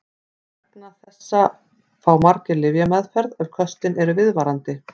Vegna þessa fá margir lyfjameðferð ef köstin eru viðvarandi.